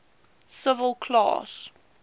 civil class